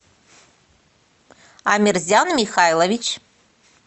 амерзян михайлович